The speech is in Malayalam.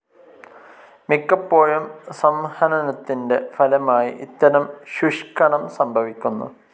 മിക്കപ്പോഴും സംഹനനത്തിൻ്റെ ഫലമായി ഇത്തരം ശുഷ്ക്കണം സംഭവിക്കുന്നു.